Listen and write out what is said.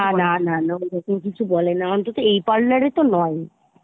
না না না না , ওরকম কিছু বলে না , অন্তত এই parlour এ তো নয় ই